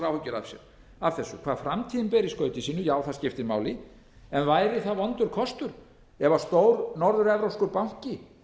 áhyggjur af þessu hvað framtíðin ber í skauti sínu já það skiptir máli en væri það vondur kostur ef stór norður evrópskur banki